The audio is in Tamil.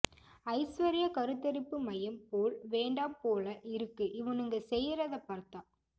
ஐஸ்வர்யா கருத்தரிப்பு மையம் போல் வேண்டாம் போல இருக்கு இவனுங்க செய்றதை பார்த்தா